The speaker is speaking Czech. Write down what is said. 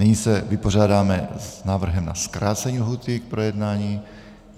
Nyní se vypořádáme s návrhem na zkrácení lhůty k projednání.